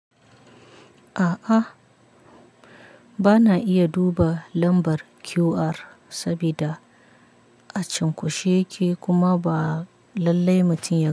A'a, bana iya duba lambar QR sabida a cunkoshe yake kuma ba lallai mutum ya.